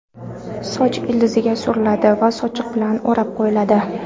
Soch ildiziga suriladi va sochiq bilan o‘rab qo‘yiladi.